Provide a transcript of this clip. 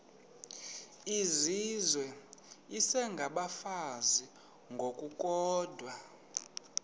izizwe isengabafazi ngokukodwa